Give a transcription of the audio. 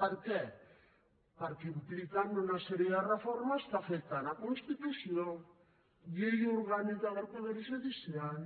per què perquè impliquen una sèrie de reformes que afecten la constitució llei orgànica del poder judicial